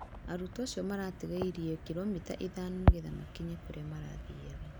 Arũtwo acĩo maratigairĩe kilomita ithano nĩgetha makĩnye kũrĩa marathĩaga